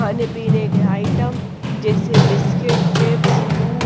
पानी पीने के आइटम जैसे बिस्किट चिप्स दूध--